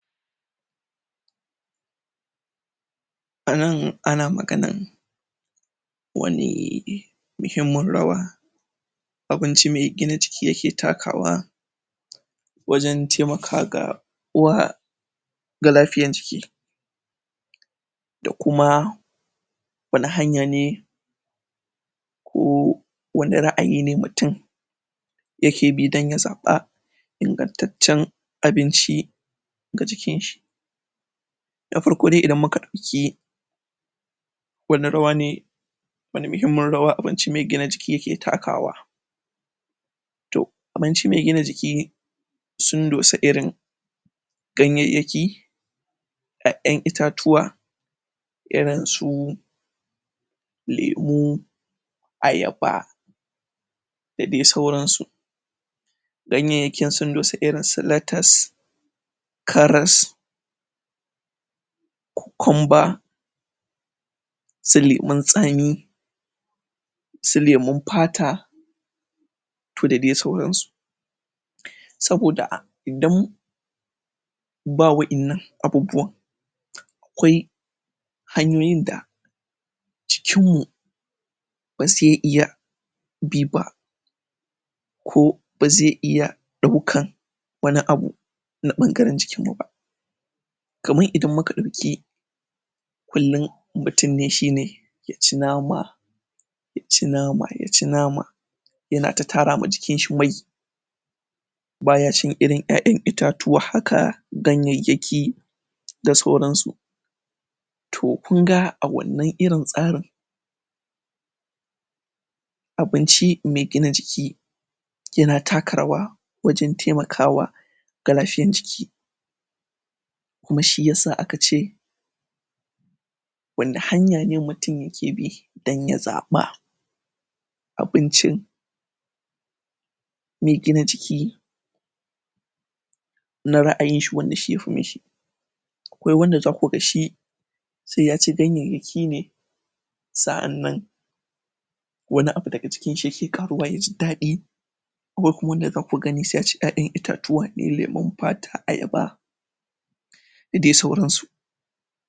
A nan ana maganan wani muhimmin rawa abinci mai gina jiki yake takawa wajen taimakawa ga uwa ga lafiyan jiki da kuma wani hanya ne ko wani ra'ayi ne mutum yake bi don ya zaɓa ingantaccen abinci ga jikin shi na farko dai idan muka ɗauki wani rawa ne wani muhimmin rawa abinci mai gina jiki yake takawa toh abinci mai gina jiki sun dosa irin ganyenyaki ƴaƴan itatuwa, irin su lemu, ayaba, da dai sauran su Ganyenyakin sun dosa irin su latas karas cocumba su lemun tsami su lemun fata to da dai sauran su saboda idan ba waɗannan abubuwan akwai hanyoyin da jikin mu ba zai iya bi ba. ko ba zai iya ɗauka wani abu na ɓangaren jikin mu ba kaman idan muka ɗauki kullum mutum shine ya ci nama ya ci nama ya ci nama yana ta tara ma jikin shi mai baya cin irin ƴaƴan itatuwa haka ganyenyaki da sauran su to kun ga a wannan irin tsarin abinci mai gina jiki yana taka rawa wajen taimaka wa ga lafiyan jiki kuma shi yasa aka ce wani hanya ne mutum yake bi don ya zaɓa abincin mai gina jiki na ra'ayin shi wanda shi yafi mishi akwai wanda za kuga shi sai ya ci ganyenyaki ne sa'annan wani abu daga jikin shi yake ƙaruwa ya ji daɗi akwai kuma wanda za ku gani sai ya ci ƴaƴan itatuwa irin lemun fata, ayaba da dai sauran su.